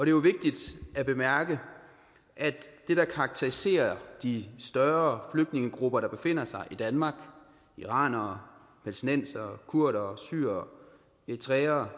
jo vigtigt at bemærke at det der karakteriserer de større flygtningegrupper der befinder sig i danmark iranere palæstinenserne kurdere syrere og eritreere